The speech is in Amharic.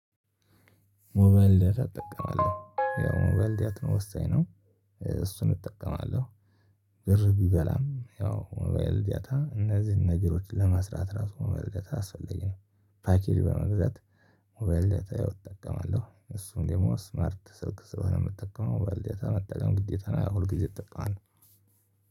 ሞባይል ዳታ እጠቀማለሁ። ያው ሞባይል ዳታ ወሳኝ ነው። እሱን እጠቀማለሁ። ብር ቢበላም ያው ሞባይል ዳታ እነዚህን ነገሮች ለመስራት ራሱ ሞባይል ዳታ አስፈላጊ ነው። ፓኬጅ በመግዛት ሞባይል ዳታ እጠቀማለሁ። እሱም ደሞ ስማርት ስልክ ስለሆነ የምጠቀመው ሞባይል ዳታ መጠቀም ግዴታ ነው። ሁልጊዜ እጠቀማለሁ።